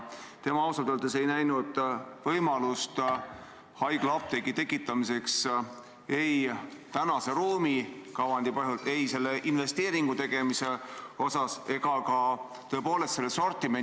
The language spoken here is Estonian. Tema ausalt öeldes ei näinud võimalust haiglaapteegi avamiseks – ei praeguse ruumikavandi tõttu, ei selle investeeringu tegemise seisukohalt ega ka sortimenti silmas pidades.